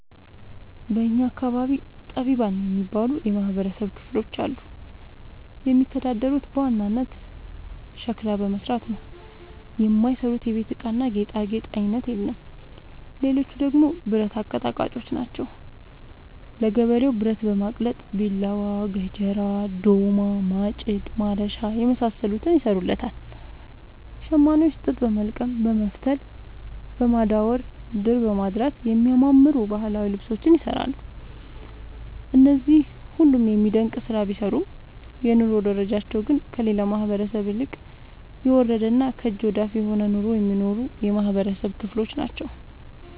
በእኛ አካባቢ ጠቢባን የሚባሉ የማህበረሰብ ክፍሎች አሉ። የሚተዳደሩት በዋናነት ሸክላ በመስራት ነው። የማይሰሩት የቤት እቃና ጌጣጌጥ አይነት የለም ሌቹ ደግሞ ብረት አቀጥቃጭጮች ናቸው። ለገበሬው ብረት በማቅለጥ ቢላዋ፣ ገጀራ፣ ዶማ፣ ማጭድ፣ ማረሻ የመሳሰሉትን ይሰሩለታል። ሸማኔዎች ጥጥ በወልቀም በመፍተል፣ በማዳወር፣ ድር በማድራት የሚያማምሩ ባህላዊ ልብሶችን ይሰራሉ። እነዚህ ሁሉም የሚደነቅ ስራ ቢሰሩም የኑሮ ደረጃቸው ግን ከሌላው ማህበረሰብ ይልቅ የወረደና ከእጅ ወዳፍ የሆነ ኑሮ የሚኖሩ የማህበረሰብ ክሎች ናቸው።